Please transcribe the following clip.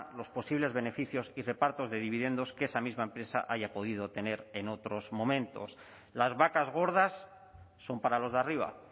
los posibles beneficios y repartos de dividendos que esa misma empresa haya podido tener en otros momentos las vacas gordas son para los de arriba